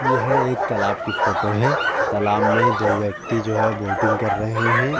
यह एक तालाब कि फोटो है। तालाब में दो व्यक्ति जो है वोटिंग कर रहे हैं।